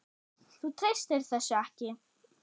Þú treystir þessu ekki?